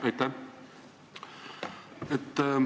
Aitäh!